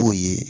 K'o ye